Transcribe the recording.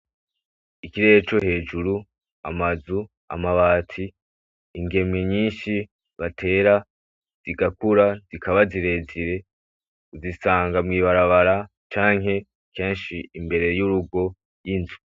Ikirere co hejuru amazu, amabati ingemwe nyinshi batera zigakura zikaba zirezire uzisanga mw'ibarabara canke kenshi imbere y'urugo y'inzu.